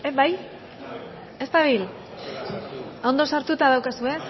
bai ez dabil ondo sartuta daukazu ez